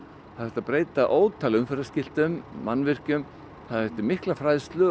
það þurfti að breyta ótal mannvirkjum það þurfti mikla fræðslu og